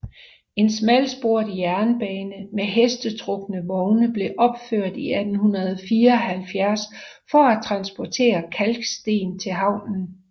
En smalsporet jernbane med hestetrukne vogne blev opført 1874 for at transportere kalksten til havnen